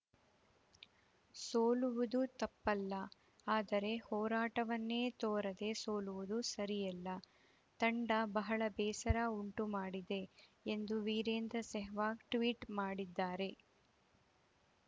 ಸೋಲುವುದು ತಪ್ಪಲ್ಲ ಆದರೆ ಹೋರಾಟವನ್ನೇ ತೋರದೆ ಸೋಲುವುದು ಸರಿಯಲ್ಲ ತಂಡ ಬಹಳ ಬೇಸರ ಉಂಟು ಮಾಡಿದೆ ಎಂದು ವೀರೇಂದ್ರ ಸೆಹ್ವಾಗ್‌ ಟ್ವೀಟ್‌ ಮಾಡಿದ್ದಾರೆ